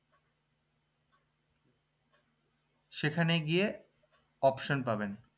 সেখানে গিয়ে option পাবেন